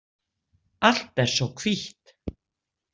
Allt er svo hvítt.